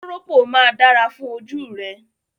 Kóròpó máa dára fún ojú rẹ.